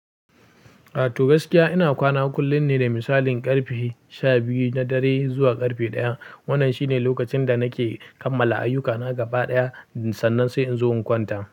Ato gaskiya ina kwana kullum ne da misalin ƙarfe sha biyu na dare zuwa ƙarfe ɗaya. Wannan shine lokacin da nake kammala ayyukana gaba ɗaya sannan sai in zo in kwanta.